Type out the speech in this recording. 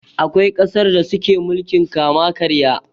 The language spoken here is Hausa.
Akwai ƙasar da suke mulkin kama karya.